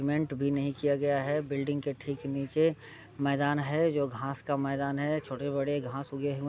cement भी नहीं किया गया है बिल्डिंग के ठीक नीचे मैदान है जो घास का मैदान है छोटे-बड़े घास उगे हुए --